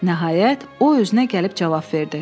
Nəhayət, o özünə gəlib cavab verdi.